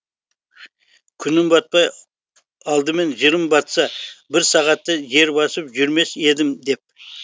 күнім батпай алдымен жырым батса бір сағатта жер басып жүрмес едім деп